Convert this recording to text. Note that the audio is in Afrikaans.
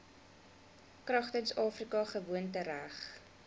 kragtens afrika gewoontereg